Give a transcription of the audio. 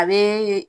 A bee